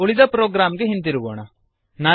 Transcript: ಈಗ ಉಳಿದ ಪ್ರೊಗ್ರಾಮ್ ಗೆ ಹಿಂದಿರುಗೋಣ